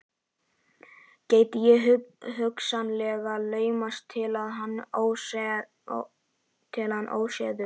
Gæti ég hugsanlega laumast inn til hans óséður?